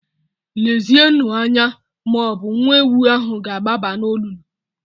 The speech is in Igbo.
Lezienụ anya ma ọ bụ nwa ewu ahụ ga-agbaba n'olulu.